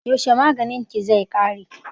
Yaushe maganin ki zai ƙare?